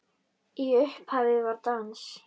Í upphafi var dans.